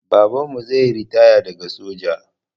Babanmu zaiyi ritaya daga soja